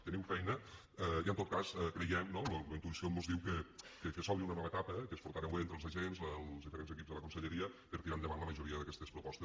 teniu feina i en tot cas ho creiem no la intuïció mos diu que s’obre una nova etapa que us portareu bé entre els agents els diferents equips de la conselleria per tirar endavant la majoria d’aquestes propostes